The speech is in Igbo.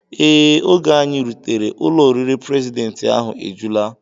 Ee, oge anyị rutere, ụlọ oriri prezidentị ahụ ejula